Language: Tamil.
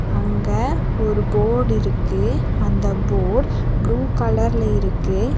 அங்க ஒரு போட் இருக்கு அந்த போட் ப்ளூ கலர்ல இருக்கு.